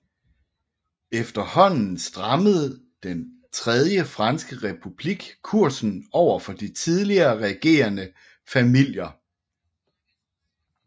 Efterhånden strammede den tredje franske republik kursen overfor de tidligere regerende familier